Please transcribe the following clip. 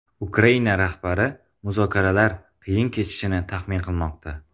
Ukraina rahbari muzokaralar qiyin kechishini taxmin qilmoqda.